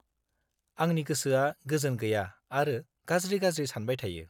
आंनि गोसोआ गोजोन गैया आरो गाज्रि-गाज्रि सानबाय थायो।